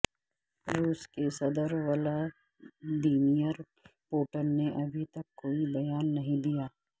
روس کے صدر ولادیمیر پوٹن نے ابھی تک کوئی بیان نہیں دیا ہے